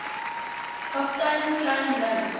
kaptein kleyn links